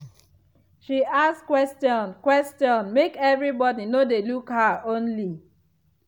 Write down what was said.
she ask question question make everybody no dey look her only.